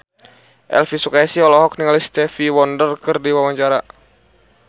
Elvy Sukaesih olohok ningali Stevie Wonder keur diwawancara